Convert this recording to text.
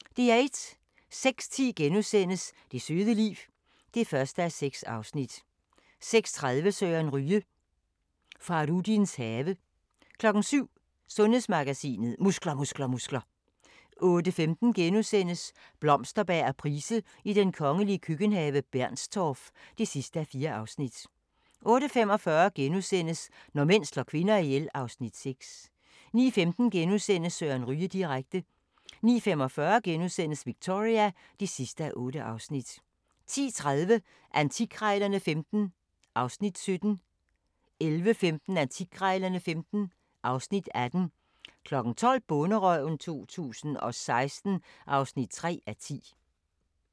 06:10: Det søde liv (1:6)* 06:30: Søren Ryge: Fahrudins have 07:00: Sundhedsmagasinet: Muskler, muskler, muskler 08:15: Blomsterberg og Price i den kongelige køkkenhave: Bernstorff (4:4)* 08:45: Når mænd slår kvinder ihjel (Afs. 6)* 09:15: Søren Ryge direkte * 09:45: Victoria (8:8)* 10:30: Antikkrejlerne XV (Afs. 17) 11:15: Antikkrejlerne XV (Afs. 18) 12:00: Bonderøven 2016 (3:10)